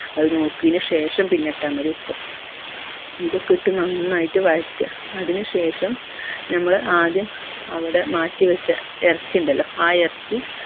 അത് നോക്കിന് ശേഷം പിന്നെ ഇട്ട മതി ഉപ്പ് ഇത് ഒക്കെ ഇട്ട് നന്നായിട്ട് വയറ്റ അതിനുശേഷം നമ്മൾ ആദ്യം അവിടെ മാറ്റി വെച്ച എർച്ചി ഇണ്ടല്ലോ ആ എർച്ചി